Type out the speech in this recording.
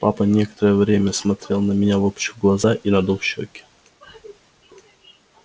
папа некоторое время смотрел на меня выпучив глаза и надув щеки